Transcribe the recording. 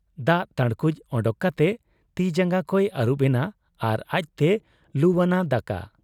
ᱫᱟᱜ ᱛᱟᱹᱬᱠᱩᱡ ᱚᱰᱚᱠ ᱠᱟᱛᱮ ᱛᱤᱡᱟᱸᱜᱟ ᱠᱚᱭ ᱟᱹᱨᱩᱵ ᱮᱱᱟ ᱟᱨ ᱟᱡᱛᱮᱭ ᱞᱩᱣᱟᱱᱟ ᱫᱟᱠᱟ ᱾